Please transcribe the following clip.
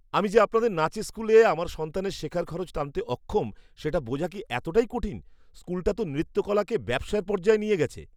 আমি যে আপনাদের নাচের স্কুলে আমার সন্তানের শেখার খরচ টানতে অক্ষম সেটা বোঝা কি এতটাই কঠিন? স্কুলটা তো নৃত্যকলাকে ব্যবসার পর্যায়ে নিয়ে গেছে।